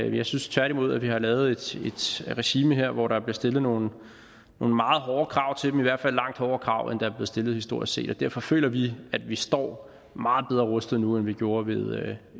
jeg synes tværtimod at vi har lavet et regime her hvor der bliver stillet nogle meget hårde krav til dem i hvert fald langt hårdere krav end der er stillet historisk set og derfor føler vi at vi står meget bedre rustet nu end vi gjorde ved